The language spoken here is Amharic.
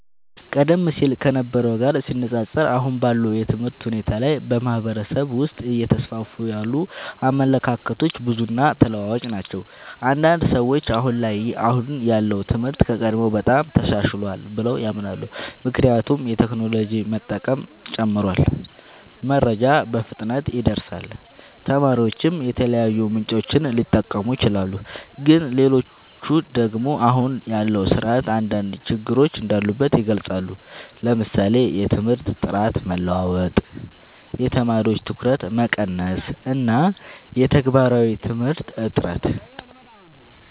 ቀደም ሲል ከነበረው ጋር ሲነፃፀር፣ አሁን ባለው የትምህርት ሁኔታ ላይ በማህበረሰብ ውስጥ እየተስፋፉ ያሉ አመለካከቶች ብዙ እና ተለዋዋጭ ናቸው። አንዳንድ ሰዎች አሁን ያለው ትምህርት ከቀድሞው በጣም ተሻሽሏል ብለው ያምናሉ። ምክንያቱም የቴክኖሎጂ መጠቀም ጨምሯል፣ መረጃ በፍጥነት ይደርሳል፣ ተማሪዎችም የተለያዩ ምንጮችን ሊጠቀሙ ይችላሉ። ግን ሌሎች ደግሞ አሁን ያለው ስርዓት አንዳንድ ችግሮች እንዳሉበት ይገልጻሉ፤ ለምሳሌ የትምህርት ጥራት መለዋወጥ፣ የተማሪዎች ትኩረት መቀነስ እና የተግባራዊ ትምህርት እጥረት።